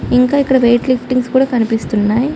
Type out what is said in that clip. ఇంకా ఇక్కడ weight liftings కూడా కనిపిస్తున్నాయ్.